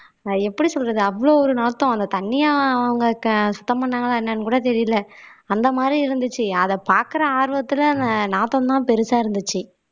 ஆஹ் எப்படி சொல்றது அவ்ளோ ஒரு நாத்தம் அந்த தண்ணிய அவங்க க சுத்தம் பண்ணாங்களா என்னன்னு கூட தெரியல அந்த மாதிரி இருந்துச்சு அத பாக்குற ஆர்வத்துல நாத்தம் தான் பெருசா இருந்துச்சு